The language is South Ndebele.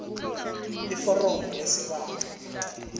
iforomo lesibawo